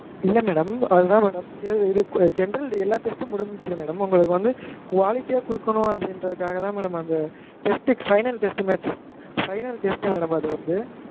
இல்ல madam அது தான் madam இத general எல்லா test ம் முடிஞ்ச்சு madam உங்கலுக்கு வந்து quality யா குடுக்கனும் அப்டிங்கறதுக்காக தான் madam அந்த test க்கு final test matchfinal test madam அது வந்து